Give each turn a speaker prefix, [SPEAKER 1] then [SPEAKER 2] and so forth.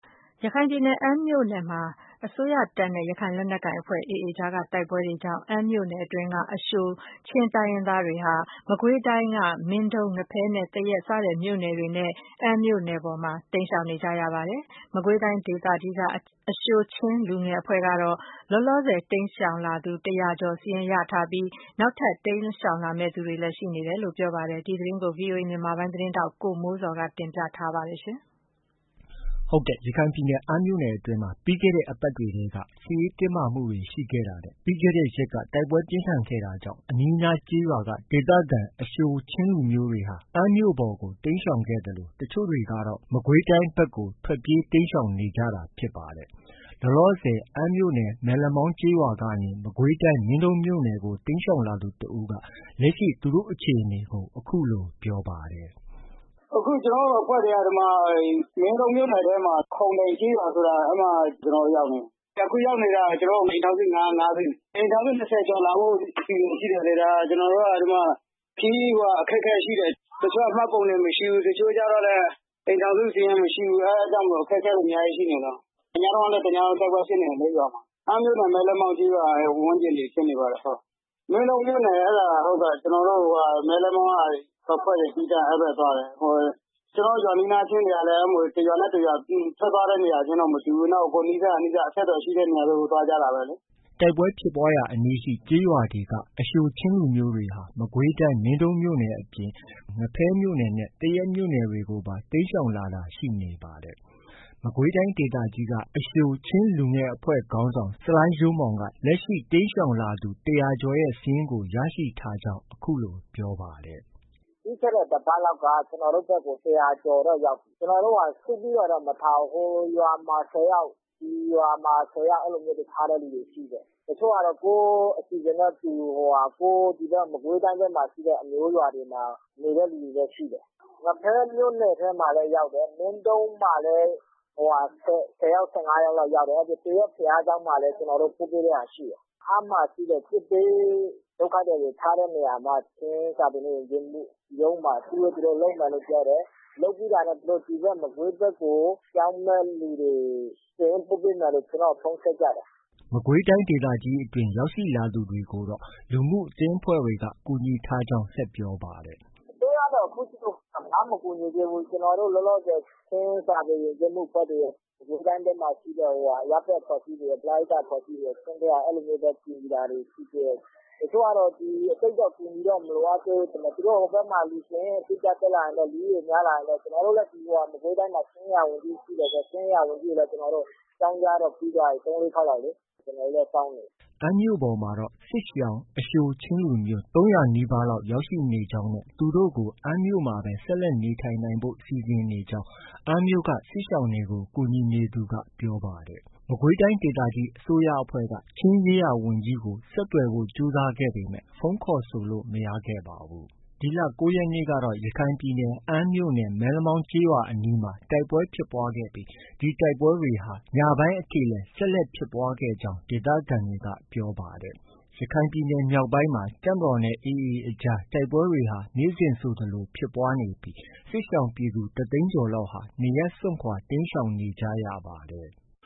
[SPEAKER 1] ရခိုင်ပြည်နယ် ၊ အမ်းမြို့နယ်အတွင်းမှာ တပ်မတော်နဲ့ ရခိုင်လက်နက်ကိုင်အဖွဲ့ AA အကြားမှာ ဖြစ်ပွားတဲ့ တိုက်ပွဲတွေကြောင့် အမ်းမြို့နယ်အတွင်းက အရှိုချင်းလူမျိုးတွေဟာ မကွေးတိုင်း ၊မင်းတုံး၊ ငဖဲနဲ့ သရက်စတဲ့မြို့နယ်တွေနဲ့ အမ်းမြို့ ပေါ်ကို တိမ်းရှောင်နေကြပါတယ်။ မကွေးတိုင်းဒေသကြီးက အရှိုချင်းလူငယ်အဖွဲ့ကတော့ လောလောဆည် တိမ်းရှောင်လာသူ ၁၀၀ကျော်စာရင်းကို ရရှိထားပြီး နောက်ထပ် ထပ်မံတိမ်းရှောင်လာမယ့် သူတွေလည်း ရှိနေကြောင်း ပြောပါတယ်။ ဒီသတင်းကိုတော့ ဗွီအိုအေမြန်မာပိုင်းရဲ့သတင်းထောက် ကိုမိုးဇော်က တင်ပြထားပါတယ်။ ရ
[SPEAKER 2] ခိုင်ပြည်နယ် အမ်းမြို့နယ်အတွင်းမှာ ပြီးခဲ့တဲ့ အပတ်တွေထဲက စစ်ရေးတင်းမာမှုတွေရှိခဲ့တာနဲ့ ပြီးခဲ့တဲ့ရက်က တိုက်ပွဲပြင်းထန်ခဲ့တာကြောင့် အနီးအနားကျေးရွာက အရှိုချင်း ဒေသခံတွေဟာ အမ်းမြို့ပေါ်ကို တိမ်းရှောင်ခဲ့သလို တချို့တွေကတော့ မကွေးတိုင်း အတွင်းကို ထွက်ပြေးတိမ်းရှောင်နေကြတာဖြစ်ပါတယ်။ လောလောဆည် အမ်းမြို့နယ် မဲလက်မောင်းကျေးရွာကနေ မကွေးတိုင်း မင်းတုန်းမြို့နယ်ကို တိမ်းရှောင်လာသူ တစ်ဦးက လက်ရှိ သူတို့အခြေအနေကို အခုလို ပြောပါတယ်။
[SPEAKER 3] “ အခု ကျနော်တို့ အဖွဲ့တွေက မင်းတုန်းမြို့နယ် ခုံတိုင်ကျေးရွာ အဲဒီမှာ ကျနော်တို့ ရောက်နေတာ။ အခုရောက်နေတာ ကျနော်တို့ အိမ်ထောင်စု ၅စု၊ အိမ်ထောင်စု ၂၀ကျော် လာဖို့ အစီအစဉ်ရှိတယ်လေ။ အဲဒီမှာ ကျနော်တို့က ခရီးအခက်အခဲရှိတယ်။ တချို့က မှတ်ပုံတင်မရှိဘူး။ တချို့ကျတော့လည်း အိမ်ထောင်စု စာရင်း မရှိဘူး။ အဲဒါကြောင့် အခက်အခဲတွေ အများကြီးရှိနေလို့ ။ ညတုန်းကလည်း တစ်ညလုံးတိုက်ပွဲဖြစ်နေတယ်လေ ရွာမှာ။ အမ်းမြို့နယ် မဲလက်မောင်းကျေးရွာဝန်းကျင်တွေဖြစ်နေပါတယ်။ မင်းတုန်းမြို့နယ် အဲဒါ ကျနော်တို့ မဲလက်မောင်းကအဖွဲ့တွေ သီးသန့်သွားတယ်။ ကျနော်တို့ ရွာနီးနားချင်းတွေကလည်း တစ်ရွာနဲ့ တစ်ရွာ ထွက်သွားတဲ့သူတွေက မတူဘူး။ ကိုယ်နီးစပ်ရာ နီးစပ်ရာ အဆက်အသွယ်ရှိတဲ့နေရာတွေကို သွားကြတာပဲလေ။
[SPEAKER 2] ” တိုက်ပွဲဖြစ်ပွားရာအနီးရှိ ကျေးရွာတွေက အရှိုချင်းလူမျိုးတွေဟာ မကွေးတိုင်း မင်းတုန်းမြို့နယ်အပြင် ငဖဲမြို့နယ်နဲ့ သရက်မြို့နယ်တွေကို တိမ်းရှောင်တာရှိနေပါတယ်။ မကွေးတိုင်း ဒေသကြီးက အရှိုချင်းလူငယ်အဖွဲ့ခေါင်းဆောင် ဆလိုင်းရိုးမောင်က လက်ရှိ တိမ်းရှောင်လာသူ ၁၀၀ကျော်ရဲ့ စာရင်းကို ရရှိထားကြောင်း အခုလို ပြောပါတယ်။
[SPEAKER 4] “ ပြီးခဲ့တဲ့ တစ်ပတ်လောက်က ကျနော်တို့ ဘက်ကို ၁၀၀ကျော်တော့ ရောက်ပြီ။ ကျနော်တို့က စုပြီးတော့ မထားဘူး။ ဟိုရွာမှာ ၁၀ယောက်၊ ဒီရွာမှာ ၁၀ယောက် အဲလိုမျိုးတွေ ထားတဲ့လူတွေ ရှိတယ်။ တချို့ကတော့ ကိုယ့်အစီအစဉ်နဲ့ကိုယ် ဒီဘက် မကွေးတိုင်းဘက်မှာ အမျိုးရွာတွေမှာ နေတဲ့လူတွေလည်း ရှိတယ်။ ငဖဲမြို့နယ်ထဲလည်း ရောက်တယ်။ မင်းတုန်းမှာလည်း ၁၀ယောက်၊ ၁၅ယောက်လောက်ရှိတယ်။ သရက်ဘုရားကျောင်းမှာလည်း ကျနော်တို့ ပို့ပေးတဲ့ဟာ ရှိတယ်။ အမ်းမှာရှိတဲ့ စစ်ဘေးဒုက္ခသည်တွေ ထားတဲ့နေရာမှာ ချင်းစာပေနဲ့ ယဉ်ကျေးမှုရုံးမှာ အစည်းအဝေး သူတို့ လုပ်မယ်လို့ ပြောတယ်။ လုပ်ပြီးတာနဲ့ သူတို့ ဒီဘက် မကွေးဘက်ကို ပြောင်းမယ့်သူတွေ စာရင်း ပို့ပေးမယ်လို့ သူတို့ ကျနော့်ကို ဖုန်း ဆက်ကြတယ်။
[SPEAKER 2] ” မကွေးတိုင်းအတွင်း ရောက်လာသူတွေကိုတော့ လူမှုအသင်းအဖွဲ့တွေက ကူညီထားကြောင်း ဆက်ပြောပါတယ်။
[SPEAKER 4] “ အစိုးရကတော့ ခုထိကို ဘာမှ မကူညီသေးဘူး။ ကျနော်တို့ လောလောဆည် ချင်းစာပေ၊ ယဉ်ကျေးမှုအဖွဲ့တွေ၊ မကွေးတိုင်းအတွင်းမှာရှိတဲ့ အရပ်ဘက် အဖွဲ့အစည်းတွေရယ်၊ ပရဟိတ အဖွဲ့အစည်းတွေရယ် အဲလိုမျိုးပဲ ကူညီတာတွေ ရှိသေးတယ်။ တချို့ကတော့ သိပ်တော့ အကူအညီတော့ မလိုအပ်သေးဘူးထင်တယ်။ သူတို့ ဟိုဘက်မှာ လူစာရင်း တက်လာရင်တော့ လူဦးရေ အတိအကျ ရရင်တော့ ကျနော်တို့လည်း မကွေးတိုင်းမှာ ချင်းရေးရာဝန်ကြီးရှိတယ်ဆိုတော့ ချင်းရေးရာဝန်ကြီးကိုလည်း အကြောင်း ကြားတော့ ပြီးသွားပြီ။ ၃- ၄ ခေါက်လောက်လေ။ ကျနော်တို့လည်း စောင့်နေတယ်
[SPEAKER 2] ။” အမ်းမြို့ပေါ်မှာတော့ စစ်ရှောင် အရှိုချင်းလူမျိုး ၃၀၀နီးပါးလောက်ရောက်ရှိနေကြောင်း၊ သူတို့ကို အမ်းမှာပဲ နေထိုင်နိုင်ဖို့ စီစဉ်နေကြောင်း အမ်းမြို့က စစ်ရှောင်တွေကို ကူညီနေသူက ပြောပါတယ်။ မကွေးတိုင်းဒေသကြီးအစိုးရအဖွဲ့က ချင်းရေးရာဝန်ကြီးကို ဆက်သွယ်ဖို့ ကြိုးစားခဲ့ပေမဲ့ ဖုန်းခေါ်ဆိုလို့ မရခဲ့ပါဘူး။ ဒီလ ၉ရက်နေ့ကတော့ ရခိုင်ပြည်နယ် အမ်းမြို့နယ် မဲလမောင်းကျေးရွာအနီးမှာ တိုက်ပွဲဖြစ်ပွားခဲ့ပြီး ဒီတိုက်ပွဲတွေဟာ ညပိုင်းအထိလည်း ဆက်လက်ဖြစ်ခဲ့ကြောင်း ဒေသခံတွေက ပြောပါတယ်။ ရခိုင်ပြည်နယ်မြောက်ပိုင်းမှာ တပ်မတော်နဲ့ AA အကြား တိုက်ပွဲတွေဟာ နေ့စဉ်ဆိုသလို ဖြစ်ပွားနေပြီး စစ်ရှောင်ပြည်သူ တစ်သိန်းကျော်လောက်ဟာ နေရပ်စွန့်ခွာ တိမ်းရှောင်နေကြရပါတယ်။